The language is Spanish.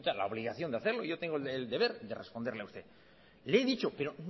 la obligación de hacerlo yo tengo el deber de responderle a usted le he dicho pero